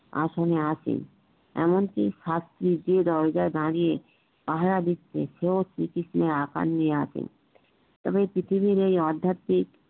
আসনে আছি এমনকি দরজায় দাড়িয়ে পাহারা দিচ্ছে সেও শ্রীকৃষ্ণের আকার নিয়ে আছে এবং পৃথিবীর এই আধ্যাতিক